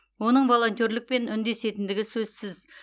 оның волонтерлікпен үндесетіндігі сөзсіз